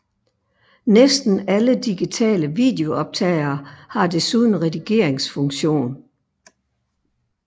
Næsten alle digitale videooptagere har desuden redigeringsfunktion